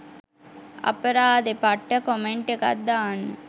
අපරාදේ පට්ට කොමෙන්ට් එකක් දාන්න